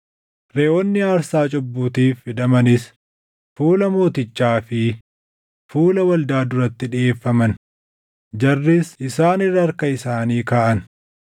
Reʼoonni aarsaa cubbuutiif fidamanis fuula mootichaa fi fuula waldaa duratti dhiʼeeffaman; jarris isaan irra harka isaanii kaaʼan.